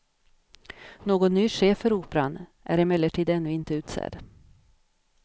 Någon ny chef för operan är emellertid ännu inte utsedd.